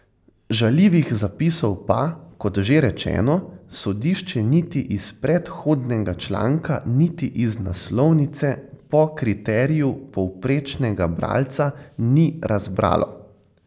Žaljivih zapisov pa, kot že rečeno, sodišče niti iz predhodnega članka niti iz naslovnice, po kriteriju povprečnega bralca, ni razbralo.